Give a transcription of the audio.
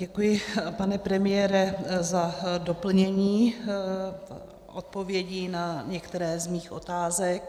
Děkuji, pane premiére, za doplnění odpovědí na některé z mých otázek.